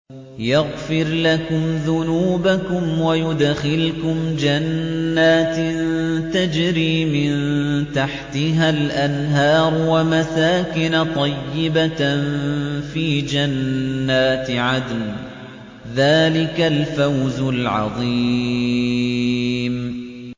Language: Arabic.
يَغْفِرْ لَكُمْ ذُنُوبَكُمْ وَيُدْخِلْكُمْ جَنَّاتٍ تَجْرِي مِن تَحْتِهَا الْأَنْهَارُ وَمَسَاكِنَ طَيِّبَةً فِي جَنَّاتِ عَدْنٍ ۚ ذَٰلِكَ الْفَوْزُ الْعَظِيمُ